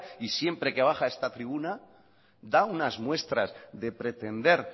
y siempre que baja a esta tribuna da unas muestras de pretender